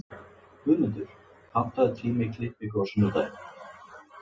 Guðmundur, pantaðu tíma í klippingu á sunnudaginn.